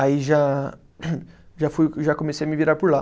Aí já já fui, já comecei a me virar por lá.